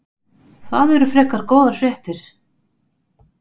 Það eru frekar góðar fréttir.